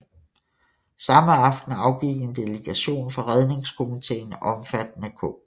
Samme aften afgik en delegation fra Redningskomiteen omfattende K